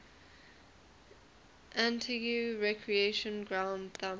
antigua recreation ground thumb